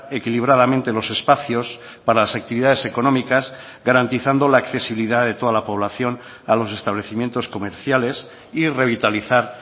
equilibradamente los espacios para las actividades económicas garantizando la accesibilidad de toda la población a los establecimientos comerciales y revitalizar